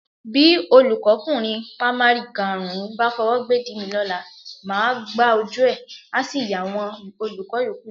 Bí olùkọ́kùnrin pamari karùn-ún bá fọwọ́ gbédìí mi lọ́la, màá gbájú ẹ̀, a sì yàwọn olùkọ́ yòókù lẹ́nu.